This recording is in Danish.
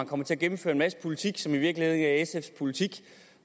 kommer til at gennemføre en masse politik som i virkeligheden ikke er sfs politik